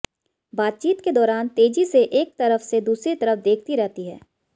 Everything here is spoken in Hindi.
बातचीत के दौरान तेजी से एक तरफ से दूसरी तरफ देखती रहती हैं